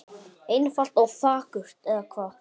Einfalt og fagurt, eða hvað?